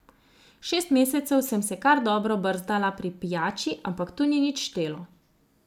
Šest mesecev sem se kar dobro brzdala pri pijači, ampak tu ni nič štelo.